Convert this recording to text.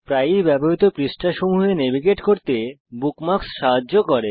প্রায়ই ব্যবহৃত পৃষ্ঠাসমূহে নেভিগেট করতে বুকমার্কস আপনাকে সাহায্য করে